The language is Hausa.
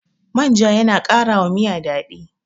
manja yana ƙara wa Miya daɗi